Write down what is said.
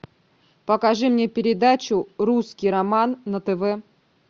покажи мне передачу русский роман на тв